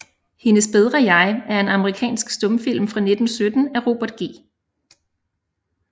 Hendes bedre Jeg er en amerikansk stumfilm fra 1917 af Robert G